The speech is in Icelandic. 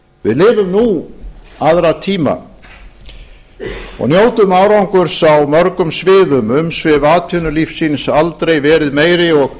við lifum nú aðra tíma og njótum árangurs á mörgum sviðum umsvif atvinnulífsins aldrei verið meiri og